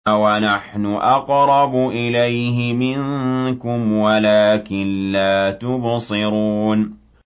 وَنَحْنُ أَقْرَبُ إِلَيْهِ مِنكُمْ وَلَٰكِن لَّا تُبْصِرُونَ